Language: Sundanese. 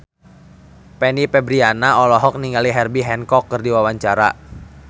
Fanny Fabriana olohok ningali Herbie Hancock keur diwawancara